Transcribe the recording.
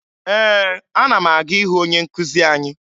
Ee, ana m aga ịhụ onye nkụzi anyị